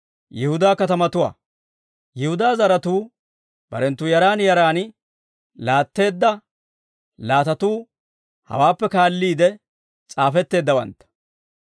Yihudaa zaratuu barenttu yaran yaran laatteedda laatatuu hawaappe kaalliide s'aafetteeddawantta.